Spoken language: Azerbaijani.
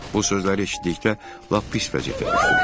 Bu sözləri eşitdikdə lap pis vəziyyətə düşdüm.